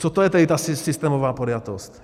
Co to je tedy ta systémová podjatost?